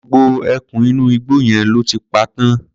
Gbogbo ẹkùn inú igbó yẹn lọ́ ti pa tán.